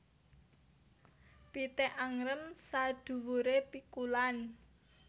Pitik angrem saduwure pikulan